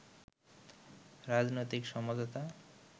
রাজনৈতিক সমঝোতা